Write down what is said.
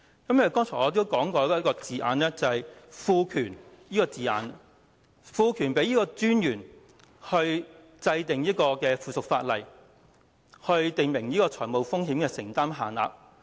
正如我剛才提到"賦權"這個字眼，"賦權金融管理專員制定附屬法例，訂明與認可機構有關的財務風險承擔限度"。